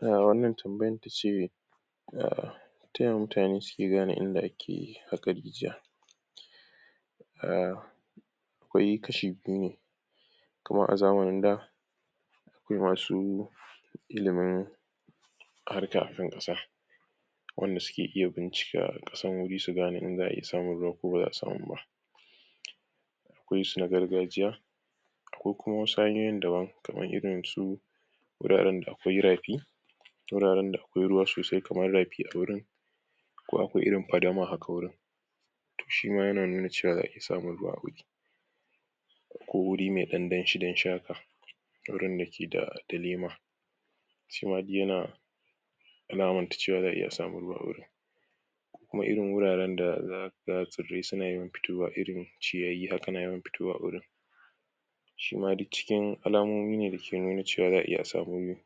Wannan tambayar tace: Ta ya mutane su ke gane inda ake haƙa rijiya? Akwai kashi biyu ne: kaman a zamnin da, akwai masu ilimin harka akan ƙasa qanda suke iya bincika ƙasan wuri, su gane in za'a iya samun ruwa ko ba za'a samu ba. Akwai su na gargajiya, akwai kuma wasu hanyoyin daban, kamar su: wuraren da akwai rafi wuraren da akwai ruwa sosai kamar rafi a wurin, ko akwai irin fadama haka wurin, to shima yana nuna cewa za'a iya samun ruwa a wuri. Ko wuri mai ɗan danshi-danshi haka wurin da ke da [da] lema. shima duk yana alamanta cewa za a iya samun ruwa a wurin. Ko irin wuraren da za ka ga tsirrai su na yawan fitowa, irin ciyayi na yawan fitowa a a wurin. shima duk cikin alamomi ne da ke nuna cewa za a iya a samu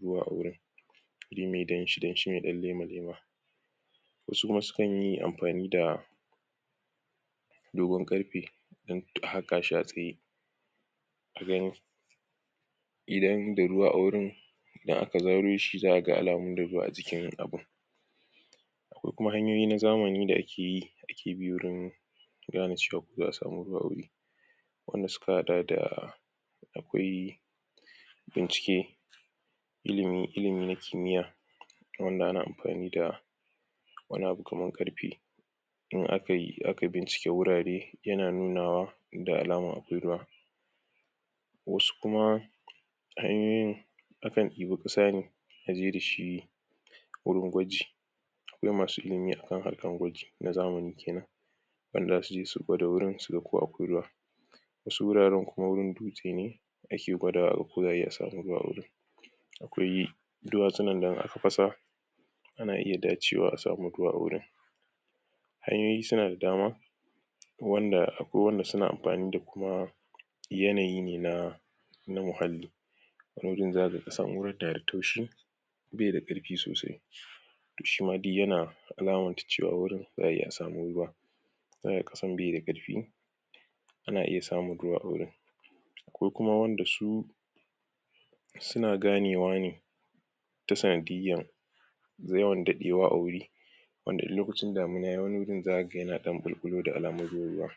ruwa a wurin. wuri mai ɗan danshi-danshi mai ɗan lema. Wasu kuma su kan yi amfani da dogon ƙarfe don haƙa shia a tsaye. a gani idan da ruwa a wurin, idan aka zaro shi, za a ga da alamun ruwa a jikin abun. Akwai kuma hanyoyi na zamani da ake yi, ake bi wurin gane cewa ko za a sami ruwa a wuri. wanda suka haɗa da: akwai bincike ilimi [ilimi] na kimiyya, wanda an amfani wani abu kamar ƙarfe, in [aka] aka bincike wurare yana nunuwa da alama akwai ruwa wasu kuma, hanyoyin akan ɗiba ƙasa ne a je dashi wurin gwaji akwai masu ilimi akan harkar gwaji na zamni kenan. Wanda za su je su gwada wurin ko akwai ruwa, wasu wuraren kuma, wurin dutse ne, ake gwadawa ko za ayi a sami ruwa a wurin. Akwai duwatsu da in aka fasa, ana iya dacewa a samu ruwa a wurin, Hanyoyi su na da dama wanda akwai wanda su na amfani da kuma yanayi ne na [na] muhalli. Wani wujin za ka ga ƙasan wurin na da taushi, bai da ƙarfi sosai, shima duk yana alamanta cewa wurin, za a iya a samu ruwa. ƙasan bai da ƙarfi a na iya samun ruwa a wurin. A akwai kuma wanda su- su na ganewa ne ta sanadiyyan yawan daɗewa a wuri, wanda in lokacin damina yayi, wani wurin za ka ga yana ɗan ɓulɓulo da alamun ruwa ruwa.